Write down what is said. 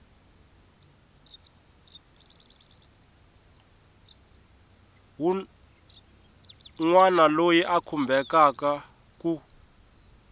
wun wana loyi a khumbekaku